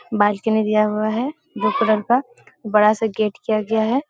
Balcony दिया हुआ है। ब्लू कलर का बड़ा सा गेट किया गया है।